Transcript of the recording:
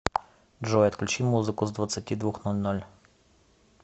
джой отключи музыку с двадцати двух ноль ноль